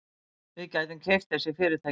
Við gætum keypt þessi fyrirtæki.